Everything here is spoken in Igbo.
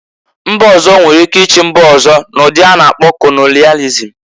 Mba ọzọ nwere ike ichi mba ọzọ, n'ụdị a na-akpọ kolonịalịzm